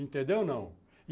Entendeu, não?